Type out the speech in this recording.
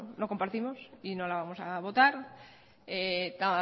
no compartimos y no la vamos a votar la